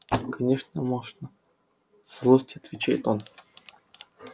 конечно можно со злостью отвечает он